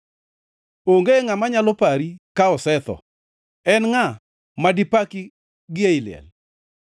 Onge ngʼama nyalo pari ka osetho. En ngʼa madi paki gi ei liel?